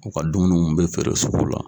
U ka dumuniw bɛ feere sugu la.